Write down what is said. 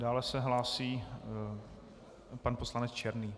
Dále se hlásí pan poslanec Černý.